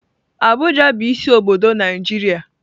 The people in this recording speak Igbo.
Abuja bu isi obodo Naijiria.